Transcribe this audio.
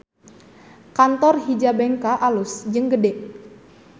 Kantor Hijabenka alus jeung gede